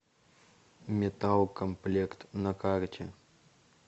металлкомплект на карте